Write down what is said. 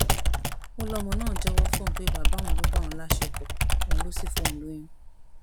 ó lọmọ náà jẹwọ fóun pé bàbá òun ló bá òun láṣepọ òun ló sì fóun lóyún